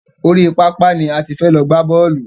Orí pápá ni a ti fẹ́ lọ gbá bọ́ọ̀lù.